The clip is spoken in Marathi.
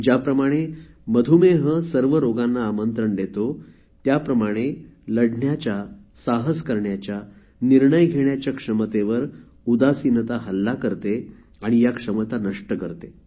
ज्याप्रमाणे मधुमेह सर्व रोगांना आमंत्रण देतो त्याप्रमाणे लढण्याच्या साहस करण्याच्या निर्णय घेण्याच्या क्षमतेवर उदासीनता हल्ला करते आणि या क्षमता नष्ट करते